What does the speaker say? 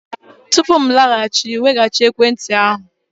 tupu m alaghachi, weghachi ekwentị ahụ!